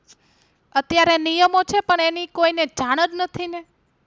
અત્યારે નિયમો છે પણ એની કોઈને જાણ જ નથી ને